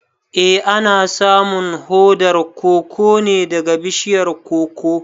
Eh ana samun hodar koko ne daga bishiyar "Cocoa".